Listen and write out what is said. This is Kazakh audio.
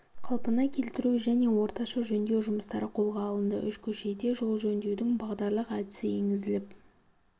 қалпына келтіру және орташа жөндеу жұмыстары қолға алынды үш көшеде жол жөндеудің бағдарлық әдісі енгізіліп